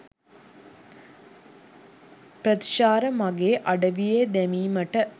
ප්‍රතිචාර මගේ අඩවියේ දැමීමට